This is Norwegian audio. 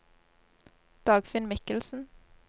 Dagfinn Mikkelsen